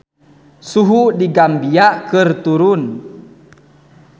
Suhu di Gambia keur turun